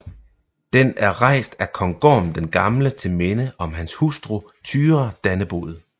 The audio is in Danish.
Den er rejst af kong Gorm den Gamle til minde om hans hustru Thyra Dannebod